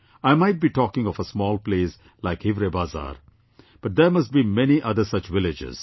I might be talking of a small place like Hivrebazaar, but there must be many other such villages